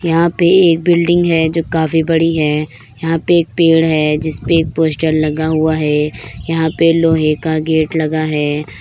यहाँ पे एक बिल्डिंग है जो काफी बड़ी है यहां पे एक पेड़ है जिसपे एक पोस्टर लगा हुआ है यहाँ पे लोहे का गेट लगा है।